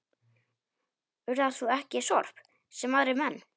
Urðar þú ekki sorp, sem aðrir menn?